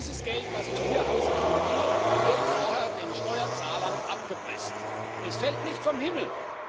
Dieses Geld, das man hier ausgeben will, wird vorher den Steuerzahlern abgepresst, das fällt nicht vom Himmel.